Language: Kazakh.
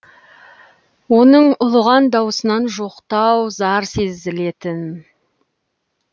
оның ұлыған дауысынан жоқтау зар сезілетін